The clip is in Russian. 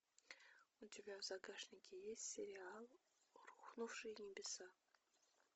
у тебя в загашнике есть сериал рухнувшие небеса